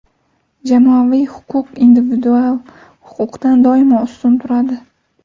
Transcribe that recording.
Jamoaviy huquq individual huquqdan doimo ustun turadi.